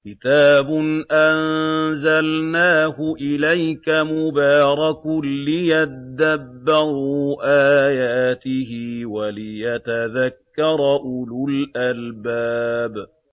كِتَابٌ أَنزَلْنَاهُ إِلَيْكَ مُبَارَكٌ لِّيَدَّبَّرُوا آيَاتِهِ وَلِيَتَذَكَّرَ أُولُو الْأَلْبَابِ